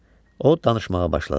O danışmağa başladı.